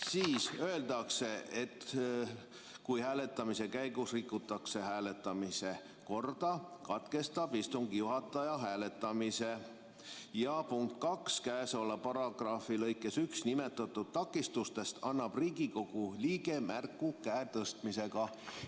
Siin öeldakse, et kui hääletamise käigus rikutakse hääletamise korda, katkestab istungi juhataja hääletamise, ja punktis 2 öeldakse, et käesoleva paragrahvi lõikes 1 nimetatud takistustest annab Riigikogu liige märku käe tõstmisega.